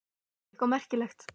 Eitthvað merkilegt?